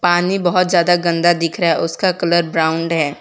पानी बहुत ज्यादा गंदा दिख रहा है उसका कलर ब्राऊन है।